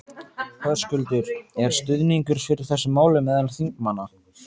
Höskuldur: Er stuðningur fyrir þessu máli meðal þingmanna?